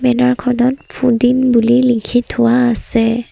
Banner খনত ফুডিন বুলি লিখি থোৱা আছে।